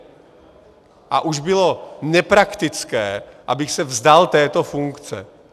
A už bylo nepraktické, abych se vzdal této funkce.